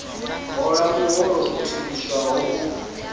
hola muholo u theliswaho u